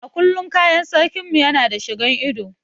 A kullum kayan sarkin mu Yana da shigan ido.